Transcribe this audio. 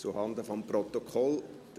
Zuhanden des Protokolls: